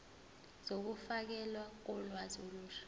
zokufakelwa kolwazi olusha